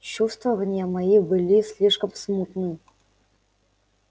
чувствования мои были слишком смутны